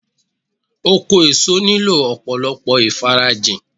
Oko èso nílò ọ̀pọ̀lọpọ̀ ìfarajìn